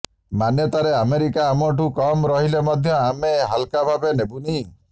ମାନ୍ୟତାରେ America ଆମଠୁ କମ୍ ରହିଲେ ମଧ୍ୟ ଆମେ ହାଲ୍କା ଭାବେ ନେବୁନି